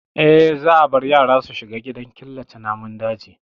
Eh, za a bar ya ra su shiga gidaan killace namun daji.